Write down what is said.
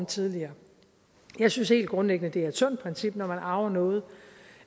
tidligere jeg synes helt grundlæggende det er et sundt princip når man arver noget